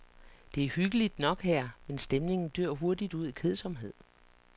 Det er hyggeligt nok her, men stemningen dør hurtigt ud i kedsomhed.